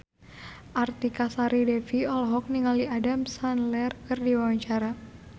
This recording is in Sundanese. Artika Sari Devi olohok ningali Adam Sandler keur diwawancara